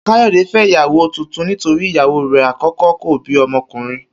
Kayode fé̩ ìyàwó tuntun nítorí ìyàwó rè̩ àkó̩kó̩ kò bí o̩mo̩kùnrin